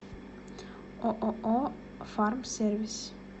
ооо фармсервис